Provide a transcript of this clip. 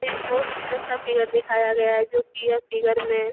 एक बहोत सुंदर सा फिगर दिखाया गया है जो की यह फिगर में --